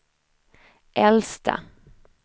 äldsta